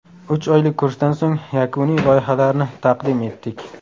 Uch oylik kursdan so‘ng yakuniy loyihalarni taqdim etdik.